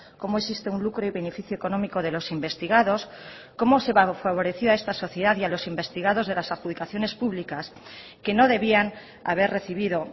cómo existe un lucro y beneficio económico de los investigados cómo se favoreció a esta sociedad y a los investigados de las adjudicaciones públicas que no debían haber recibido